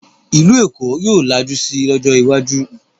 Ìlú Èkó yóò lajú si lọ́jọ́ iwájú